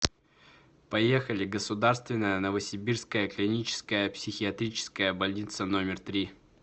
поехали государственная новосибирская клиническая психиатрическая больница номер три